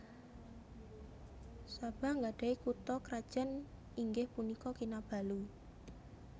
Sabah nggadhahi kutha krajan inggih punika Kinabalu